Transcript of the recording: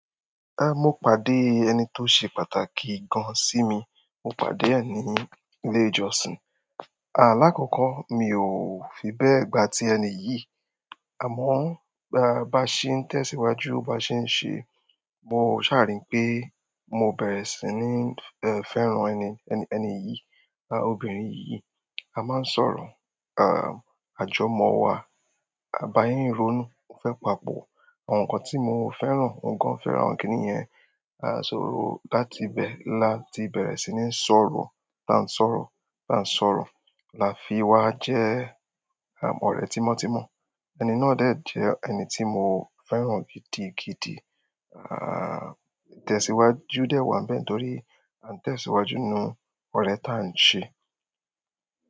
En mo pàdé ẹni to se pàtàkì gan si mi, mo pàdé e ni ile ìjọsìn. À, lákòókò mi ò fi bẹ́ẹ̀ gbà tí ẹni yìí, àmọ́ baa bá ṣe ń tẹ̀síwájú, bá ṣe ń ṣe, mo ṣàa ri pé mo bẹ̀rẹ̀ sí ní, ẹ́, fẹ́ràn ẹni, ẹni yìí, à, obìnrin yi- yìí. A máa ń sọ̀rọ̀, à, àjọ̀mọ́ wa bá yé ń rónú, ò fẹ́ papò. Àwọn nǹkan tí mo ò fẹ́ràn, òun gan fẹ́ràn kiní yẹn. A sóró láti ibẹ̀ láti bẹ̀rẹ̀ sí ní sọ̀rọ̀, là ń sọ̀rọ̀, là ń sọ̀rọ̀, là fi wá jẹ́, à, ọ̀rẹ́ tímọ́tímọ́. Ẹni náà dẹ̀ jẹ́ ẹni tí mo fẹ́ràn gidi, gidi. Àà, itẹ̀síwájú dẹ́ wá ń bẹ̀ẹ̀ torí a ń tẹ̀síwájú nu ọ̀rẹ́ ta ń ṣe.